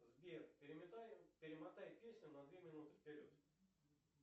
сбер перемотай песню на две минуты вперед